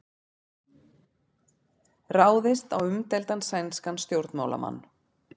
Ráðist á umdeildan sænskan stjórnmálamann